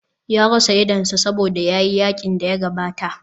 Ya rasa idonsa saboda ya yi yakin da ya gabata.